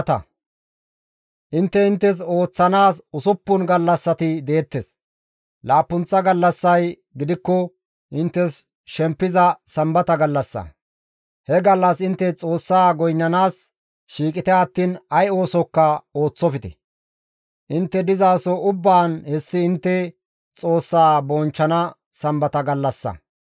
«Intte inttes ooththanaas usuppun gallassati deettes; laappunththa gallassay gidikko inttes shempiza Sambata gallassa; he gallas intte Xoossa goynnanaas shiiqite attiin ay oosokka ooththofte; intte dizaso ubbaan hessi intte Xoossa bonchchana Sambata gallassa.